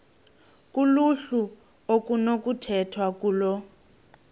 kuluhlu okunokukhethwa kulo